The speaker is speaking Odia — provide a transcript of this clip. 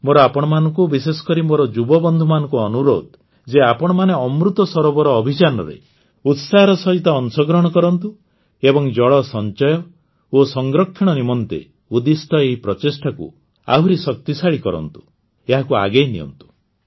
ମୋର ଆପଣମାନଙ୍କୁ ବିଶେଷକରି ମୋର ଯୁବବନ୍ଧୁମାନଙ୍କୁ ଅନୁରୋଧ ଯେ ଆପଣମାନେ ଅମୃତ ସରୋବର ଅଭିଯାନରେ ଉତ୍ସାହର ସହିତ ଅଂଶଗ୍ରହଣ କରନ୍ତୁ ଏବଂ ଜଳ ସଂଚୟ ଓ ସଂରକ୍ଷଣ ନିମନ୍ତେ ଉଦ୍ଦିଷ୍ଟ ଏହି ପ୍ରଚେଷ୍ଟାକୁ ଆହୁରି ଶକ୍ତିଶାଳି କରନ୍ତୁ ଏହାକୁ ଆଗେଇ ନିଅନ୍ତୁ